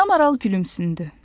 Ana Maral gülümsündü.